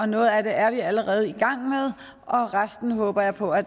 noget af det er vi allerede i gang med og resten håber jeg på at